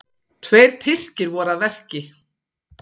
Tveir Tyrkir voru að verki.